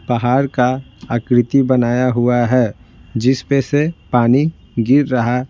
पहाड़ का आकृति बनाया हुआ है जिस पे से पानी गिर रहा--